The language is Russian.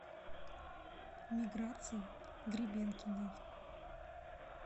миграции гребенкиной